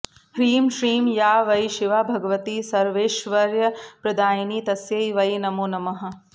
ह्रीं श्रीं या वै शिवा भगवती सर्वैश्वर्यप्रदायिनी तस्यै वै नमो नमः